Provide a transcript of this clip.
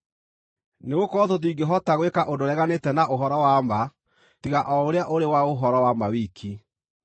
Nĩgũkorwo tũtingĩhota gwĩka ũndũ ũreganĩte na ũhoro wa ma, tiga o ũrĩa ũrĩ wa ũhoro wa ma wiki.